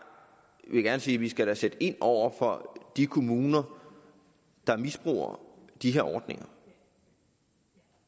vil gerne sige vi skal sætte ind over for de kommuner der misbruger de her ordninger